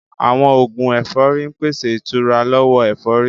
Àwọn oògùn ẹ̀fọ́rí ń pèsè ìtura lọ́wọ́ ẹ̀fọ́rí